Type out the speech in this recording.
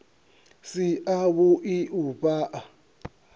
si a vhui u fhaa